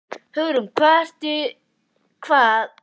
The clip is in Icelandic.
Hugrún: Hvað eru þetta margir borgarar?